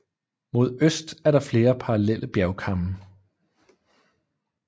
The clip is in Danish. Mod øst er der flere parallelle bjergkamme